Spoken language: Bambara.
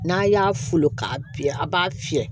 N'a y'a folo k'a fiyɛ a b'a fiyɛ